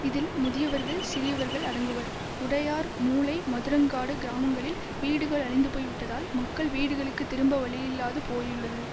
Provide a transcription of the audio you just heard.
இதில் முதியவர்கள் சிறியவர்கள் அடங்குவர் உடையார் மூலை மதுரங்காடு கிராமங்களில் வீடுகள் அழிந்து போய்விட்டதால் மக்கள் வீடுகளுக்கு திரும்ப வழியில்லாது போயுள்ளது